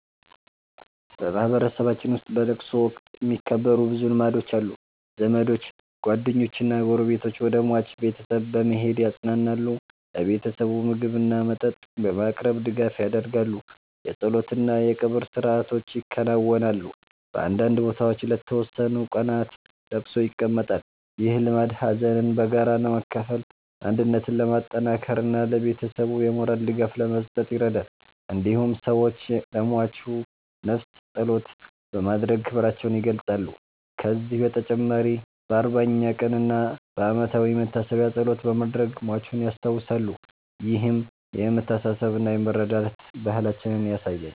በማህበረሰባችን ውስጥ በለቅሶ ወቅት የሚከበሩ ብዙ ልማዶች አሉ። ዘመዶች፣ ጓደኞችና ጎረቤቶች ወደ ሟች ቤተሰብ በመሄድ ያጽናናሉ። ለቤተሰቡ ምግብና መጠጥ በማቅረብ ድጋፍ ያደርጋሉ። የጸሎት እና የቀብር ሥርዓቶች ይከናወናሉ። በአንዳንድ ቦታዎች ለተወሰኑ ቀናት ለቅሶ ይቀመጣል። ይህ ልማድ ሀዘንን በጋራ ለመካፈል፣ አንድነትን ለማጠናከር እና ለቤተሰቡ የሞራል ድጋፍ ለመስጠት ይረዳል። እንዲሁም ሰዎች ለሟቹ ነፍስ ጸሎት በማድረግ ክብራቸውን ይገልጻሉ። ከዚህ በተጨማሪ በ40ኛ ቀን እና በዓመታዊ መታሰቢያ ጸሎት በማድረግ ሟቹን ያስታውሳሉ። ይህም የመተሳሰብና የመረዳዳት ባህላችንን ያሳያል።